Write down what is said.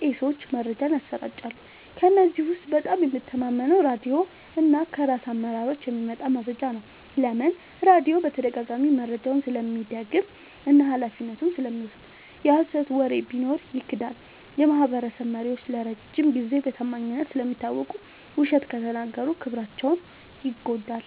ቄሶች መረጃን ያሰራጫሉ። ከእነዚህ ውስጥ በጣም የምተማመነው ራድዮ እና ከራስ አመራሮች የሚመጣ መረጃ ነው። ለምን? · ራድዮ በተደጋጋሚ መረጃውን ስለሚደግም እና ኃላፊነቱን ስለሚወስድ። የሀሰት ወሬ ቢኖር ይክዳል። · የማህበረሰብ መሪዎች ለረጅም ጊዜ በታማኝነት ስለሚታወቁ፣ ውሸት ከተናገሩ ክብራቸው ይጎዳል።